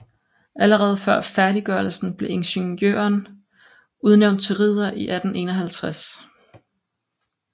Allerede før færdiggørelsen blev ingeniøren udnævnt til ridder i 1851